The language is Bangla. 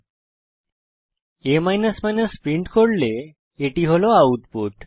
যখন আপনি a প্রিন্ট করেন এটি হল আউটপুট